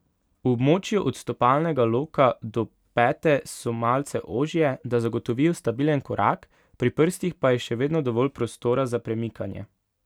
V območju od stopalnega loka do pete so malce ožje, da zagotovijo stabilen korak, pri prstih pa je še vedno dovolj prostora za premikanje.